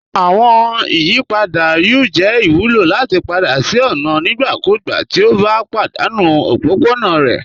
Awọn ìyìpadà U jẹ ìwùlọ lati padà sí ọ̀na nígbàkúgbà ti o bá padanu òpópọ̀na rẹ.